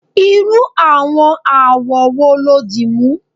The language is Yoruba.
irú àwọn awọ wo lo dimu